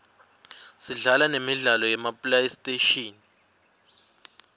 sidlala nemidlalo yema playstation